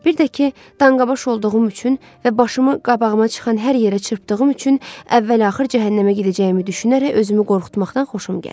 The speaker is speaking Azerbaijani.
Bir də ki, danqabaş olduğum üçün və başımı qabağıma çıxan hər yerə çırpdığım üçün əvvəl-axır cəhənnəmə gedəcəyimi düşünərək özümü qorxutmaqdan xoşum gəlir.